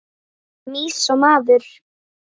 Mýs og maður.